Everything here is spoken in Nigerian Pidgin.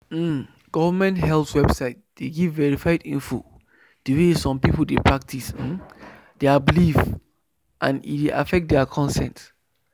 um government health website dey give verified info the way some people dey practice um their belief and e dey affect their consent.